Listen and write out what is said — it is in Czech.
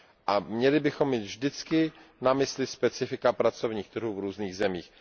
A měli bychom mít vždycky na mysli specifika pracovních trhů v různých zemích.